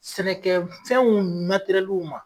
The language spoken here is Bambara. Sɛnɛkɛfɛnw ma.